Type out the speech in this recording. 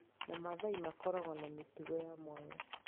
na Maathai makoragwo na mĩtugo ya mwanya.